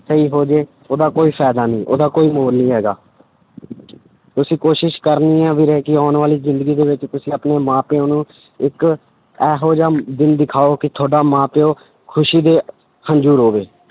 ਸਹੀ ਹੋ ਜਾਏ, ਉਹਦਾ ਕੋਈ ਫ਼ਾਇਦਾ ਨੀ, ਉਹਦਾ ਕੋਈ ਮੋਲ ਨੀ ਹੈਗਾ ਤੁਸੀਂ ਕੋਸ਼ਿਸ਼ ਕਰਨੀ ਹੈ ਵੀਰੇ ਕਿ ਆਉਣ ਵਾਲੀ ਜ਼ਿੰਦਗੀ ਦੇ ਵਿੱਚ ਤੁਸੀਂ ਆਪਣੇ ਮਾਂ ਪਿਓ ਨੂੰ ਇੱਕ ਇਹੋ ਜਿਹਾ ਦਿਨ ਦਿਖਾਓ ਕਿ ਤੁਹਾਡਾ ਮਾਂਂ ਪਿਓ ਖ਼ੁਸ਼ੀ ਦੇ ਹੰਝੂ ਰੋਵੇ।